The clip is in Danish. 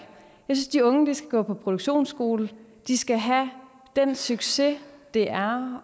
synes de unge skal gå på produktionsskole de skal have den succes det er